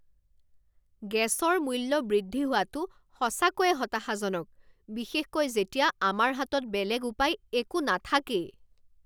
গেছৰ মূল্য বৃদ্ধি হোৱাটো সঁচাকৈয়ে হতাশাজনক, বিশেষকৈ যেতিয়া আমাৰ হাতত বেলেগ উপায় একো নাথাকেই।